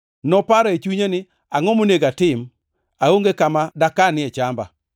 Noparo e chunye ni, ‘Angʼo monego atim? Aonge kama dakanie chamba.’